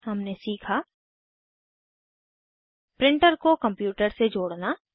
हमने सीखा प्रिंटर को कंप्यूटर से जोड़ना